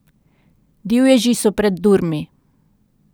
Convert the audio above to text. Divježi so pred durmi.